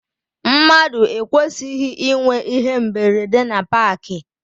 Mmadụ ekwesịghị ịnwe íhé mberede na paakị.